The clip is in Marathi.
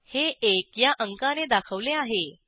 हे एकया अंकाने दाखवले आहे